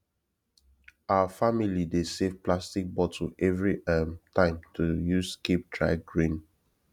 our family dey save plastic bottle every um time to use keep dry grain